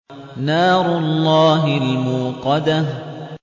نَارُ اللَّهِ الْمُوقَدَةُ